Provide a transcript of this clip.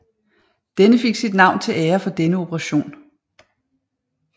Den fik sit navn til ære for denne operation